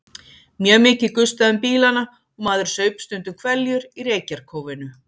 Mjög mikið gustaði um bílana og maður saup stundum hveljur í reykjarkófinu.